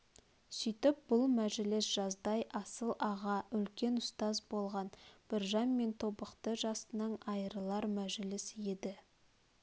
сүйтіп бұл мәжіліс жаздай асыл аға үлкен ұстаз болған біржан мен тобықты жасының айрылар мәжіліс еді